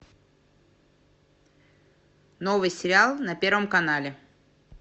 новый сериал на первом канале